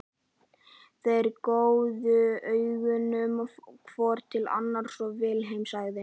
Þeir gjóuðu augunum hvor til annars og Vilhelm sagði